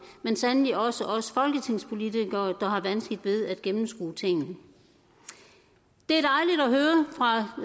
men sandelig også os folketingspolitikere der har vanskeligt ved at gennemskue tingene det